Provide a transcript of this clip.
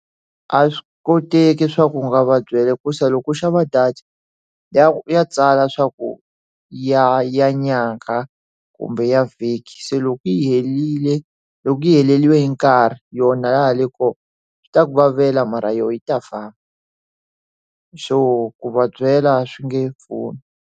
A swi koteki swa ku nga va byela ku se loko u xava data ya ya tsala swa ku ya ya nyangha kumbe ya vhiki se loko yi yi herile loko yi heleriwe hi nkarhi yona le kona swi ta ku vavela mara yona yi ta famba so ku vabyela swi nge pfuni.